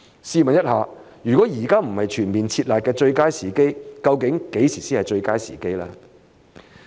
試問一下，如果現在不是全面"撤辣"的最佳時機，何時才是最佳時機呢？